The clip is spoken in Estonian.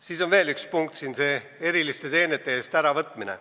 Siin on veel üks punkt, see eriliste teenete eest saadud kodakondsuse äravõtmine.